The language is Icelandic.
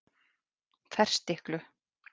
Ferstiklu